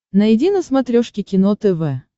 найди на смотрешке кино тв